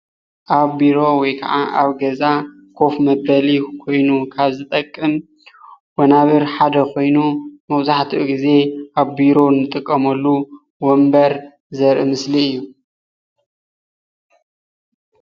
ኣብ ቢሮ ወይ ካዓ ኣብ ገዛ ኮፍ መበሊ ኮይኑ ካብ ዝጠቅም ወናብር ሓደ ኮይኑ፤ መብዛሕቲኡ ግዜ ኣብ ቢሮ ንጥቀመሉ ወንበር ዘርኢ ምስሊ እዩ።